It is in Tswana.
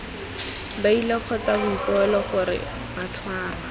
beili kgotsa boikuelo gore batshwarwa